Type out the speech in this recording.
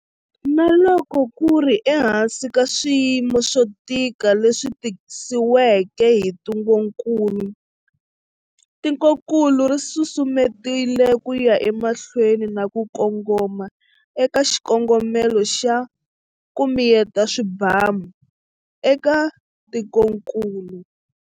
Na loko ku ri ehansi ka swiyimo swo tika leswi tisiweke hi ntungukulu, tikokulu ri susumetile ku ya emahlweni na ku kongoma eka xikongomelo xa 'ku miyeta swibamu' eka tikokulu.